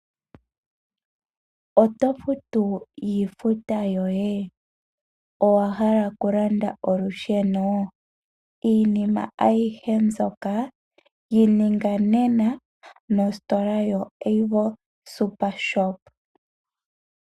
Oto futu iifuta yoye? Owahala okulanda olusheno? Iinima aihe mbyoka yininga nena nositola yo Avo SuperShop.